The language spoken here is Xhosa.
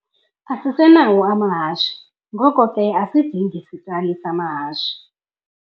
Asisenawo amahashe, ngoko ke asidingi sitali samahashe.